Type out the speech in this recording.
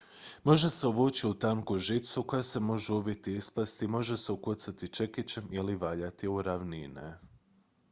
može se uvući u tanku žicu koja se može uviti i isplesti može se ukucati čekićem ili valjati u ravnine